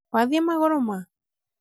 wathiĩ magũrũ ma?